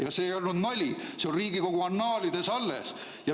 Ja see ei olnud nali, see on Riigikogu annaalides alles.